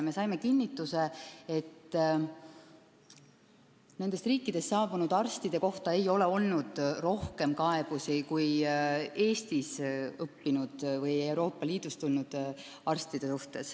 Me saime kinnituse, et nendest riikidest saabunud arstide kohta ei ole olnud rohkem kaebusi kui Eestis õppinud või Euroopa Liidust tulnud arstide kohta.